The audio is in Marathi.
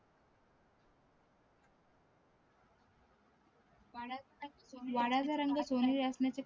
वाड्याचा रंग सोनेरी असण्याचे कारण